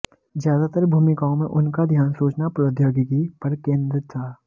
ज्यादातर भूमिकाओं में उनका ध्यान सूचना प्रौद्योगिकी पर केंद्रित रहा